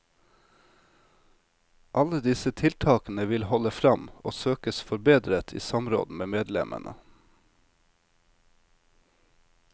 Alle disse tiltakene vil holde fram og søkes forbedret i samråd med medlemmene.